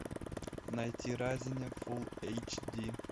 найти разинев фул эйч ди